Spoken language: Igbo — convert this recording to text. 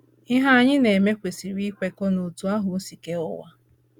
Ihe anyị na - eme kwesịrị ịkwekọ n’otú ahụ o si kee ụwa.